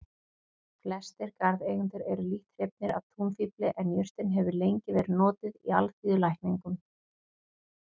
Flestir garðeigendur eru lítt hrifnir af túnfífli en jurtin hefur lengi verið notuð í alþýðulækningum.